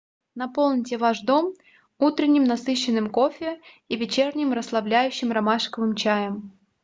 наполните ваш дом утренним насыщенным кофе и вечерним расслабляющим ромашковым чаем